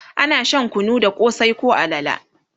ana Shan kunu da kosai koh alale